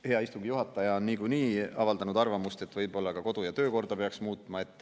Hea istungi juhataja on niikuinii avaldanud arvamust, et võib-olla ka kodu‑ ja töökorda peaks muutma.